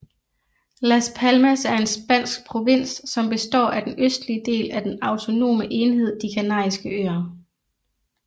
Las Palmas er en spansk provins som består af den østlige del af den autonome enhed De Kanariske Øer